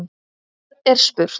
Og enn er spurt.